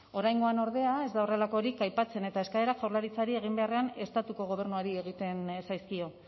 oraingoan ordea ez da horrelakorik aipatzen eta eskaerak jaurlaritzari egin beharrean estatuko gobernuari egiten zaizkio